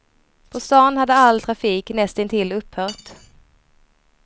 På stan hade all trafik näst intill upphört.